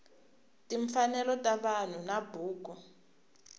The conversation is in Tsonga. timfanelo ta vanhu na buku